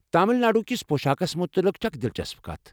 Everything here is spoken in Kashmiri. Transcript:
تمل ناڈو کِس پۄشاكس متعلِق چھِ اکھ دلچسپ کتھ۔